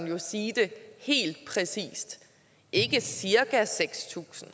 jo sige det helt præcist ikke cirka seks tusind